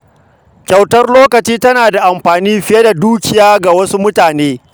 Kyautar lokaci tana da amfani fiye da dukiya ga wasu mutane.